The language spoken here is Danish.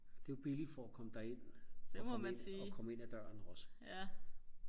og det var billigt for og komme derind at komme ind og komme ind af døren også